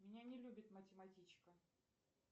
меня не любит математичка